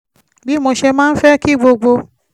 bí mo ṣe máa ń fẹ́ kí gbogbo